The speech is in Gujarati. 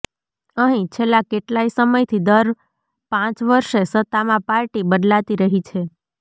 અહીં છેલ્લા કેટલાય સમયથી દર પાંચ વર્ષે સત્તામાં પાર્ટી બદલાતી રહી છે